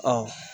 Ɔ